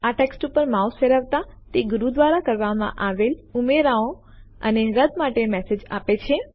આ ટેક્સ્ટ ઉપર માઉસ ફેરવતા તે ગુરુ દ્વારા કરવામાં આવેલ ઉમેરાઓ અને રદ્દ માટેના મેસેજ આપે છે